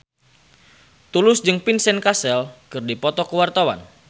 Tulus jeung Vincent Cassel keur dipoto ku wartawan